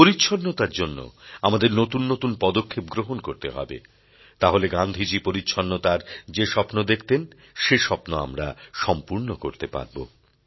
পরিচ্ছন্নতার জন্য আমাদের নতুন নতুন পদক্ষেপ গ্রহণ করতে হবে তাহলে গান্ধীজী পরিচ্ছন্নতার যে স্বপ্ন দেখতেন সে স্বপ্ন আমরা সম্পূর্ণ করতে পারবো